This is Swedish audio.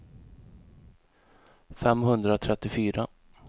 femhundratrettiofyra